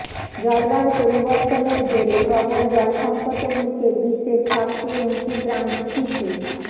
জলবায়ু পরিবর্তনের জেরে প্রবল জল সঙ্কটের মুখে বিশ্বের সবচেয়ে উঁচু গ্রাম স্পিতি